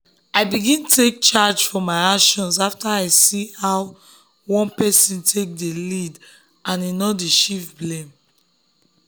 i begin take charge for my actions after i see how one person dey lead and no dey shift blame.